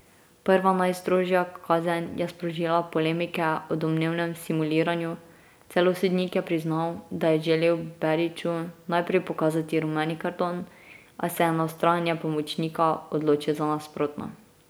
Prva najstrožja kazen je sprožila polemike o domnevnem simuliranju, celo sodnik je priznal, da je želel Beriću najprej pokazati rumeni karton, a se je na vztrajanje pomočnika odločil za nasprotno.